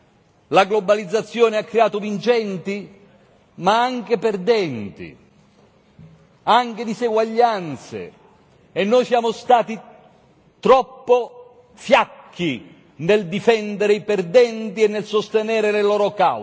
La globalizzazione ha creato vincenti, ma anche perdenti, anche diseguaglianze, e noi siamo stati troppo fiacchi nel difendere i perdenti e nel sostenere le loro cause.